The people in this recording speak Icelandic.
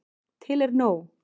Til er nóg.